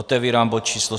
Otevírám bod číslo